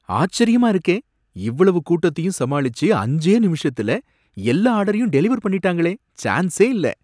ஆச்சரியமா இருக்கே! இவ்வளவு கூட்டத்தையும் சமாளிச்சு அஞ்சே நிமிஷத்துல எல்லா ஆர்டரையும் டெலிவர் பண்ணிட்டாங்களே! சான்சே இல்ல.